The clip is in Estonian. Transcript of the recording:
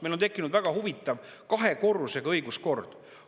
Meil on tekkinud väga huvitav kahe korrusega õiguskord.